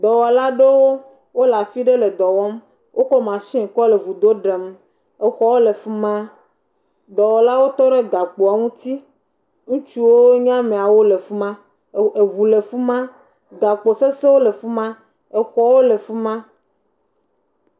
Ameaɖewo enye sia le dɔ wɔm, teƒe si wole dɔa wɔm le la te ɖe aƒu la ŋuti. Wole gakpo aɖewo lãm le ati aɖewo dzi. Wodometɔ aɖe bɔbɔ ɖe anyi hele nane wɔm, woameve bubu hã bɔbɔ le gakpowo se. Woɖo gakpo kpakple nu bubuwo ɖe teƒea.